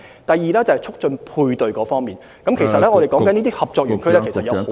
第二，在促進配對方面，這些合作園區有很多......